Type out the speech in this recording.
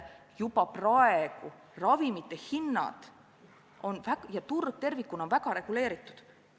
Juba praegu on ravimite hinnad ja turg tervikuna väga reguleeritud.